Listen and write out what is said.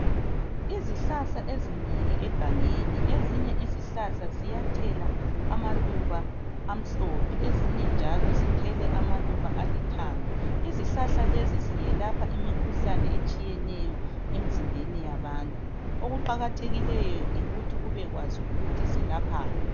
Izihlahla ezinengi egangeni, ezinye izihlahla ziyathela amaluba amhlophe. Ezinye njalo zithele amaluba alithanga. Izihlahla lezi ziyelapha imikhuhlane etshiyeneyo, emzimbeni yabantu. Okuqakathekileyo, yikuthi ubekwazi ukuthi zelaphani.